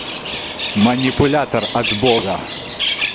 манипулятор от бога